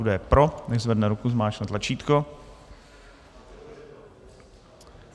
Kdo je pro, nechť zvedne ruku, zmáčkne tlačítko.